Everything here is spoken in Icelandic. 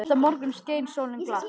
Næsta morgun skein sólin glatt.